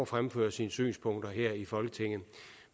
fremføre sine synspunkter her i folketinget